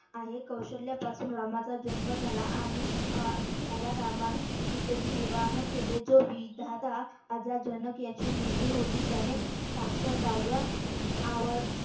आहे कौशल्यापासून रामाचा जन्म झाला. आणि अह झाला राम आणि सीतेशी विवाह केले जो विधाता जनक याची मुलगी होती त्याने साक्षर राजा